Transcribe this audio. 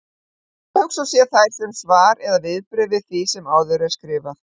Vel má hugsa sér þær sem svar eða viðbrögð við því sem áður er skrifað.